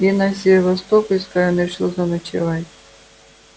и на севастопольской он решил заночевать